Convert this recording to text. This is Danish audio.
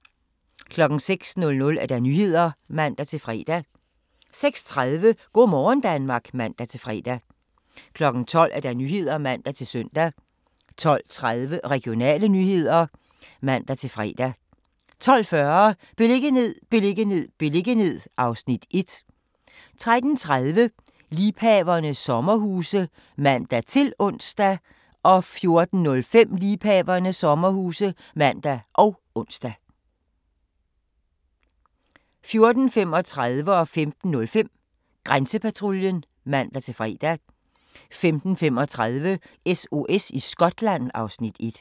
06:00: Nyhederne (man-fre) 06:30: Go' morgen Danmark (man-fre) 12:00: Nyhederne (man-søn) 12:30: Regionale nyheder (man-fre) 12:40: Beliggenhed, beliggenhed, beliggenhed (Afs. 1) 13:30: Liebhaverne – sommerhuse (man-ons) 14:05: Liebhaverne – sommerhuse (man og ons) 14:35: Grænsepatruljen (man-fre) 15:05: Grænsepatruljen (man-fre) 15:35: SOS i Skotland (Afs. 1)